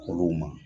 Olu ma